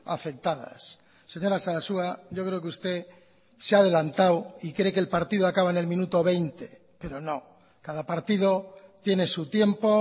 afectadas señora sarasua yo creo que usted se ha adelantado y cree que el partido acaba en el minuto veinte pero no cada partido tiene su tiempo